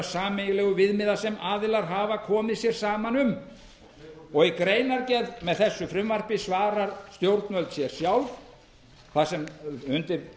sameiginlegu viðmiða sem aðilar hafa komið sér saman um í greinargerð með þessu frumvarpi svarar stjórnvöld sér sjálf undir